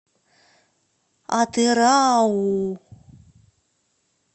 атырау